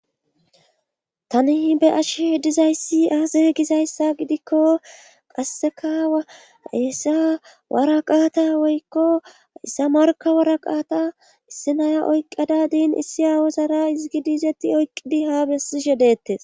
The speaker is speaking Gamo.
Tani be ashe dizayssi aase gizayssa gidikko qassekaawayesa waraqaata woykko issamarka waraqaata issi naya oyqqadadiin issi awozara izgidiizeti oyqqidi haa bessi she dettes